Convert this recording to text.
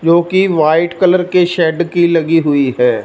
जो की white colour के शेड की लगी हुई है।